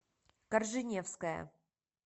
корженевская